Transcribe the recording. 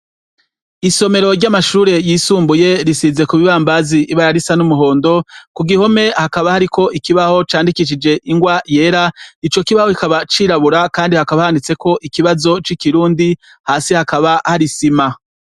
Isomero ry'amashure y'isumbuye risize ku bibambazi ibara risa n'umuhondo, ku gihome hakaba hariko ikibaho candikishije ingwa yera, ico kibaho kikaba cirabura kandi hakaba handitseko ikibazo c'ikirundi, hasi hakaba hari isima.